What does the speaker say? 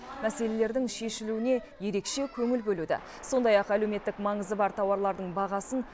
мәселелердің шешілуіне ерекше көңіл бөлуді сондай ақ әлеуметтік маңызы бар тауарлардың бағасын